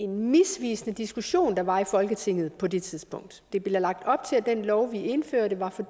misvisende diskussion der var i folketinget på det tidspunkt der blev lagt op til at den lov vi indførte